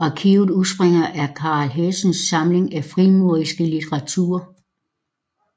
Arkivet udspringer af Carl af Hessens samling af frimurerisk litteratur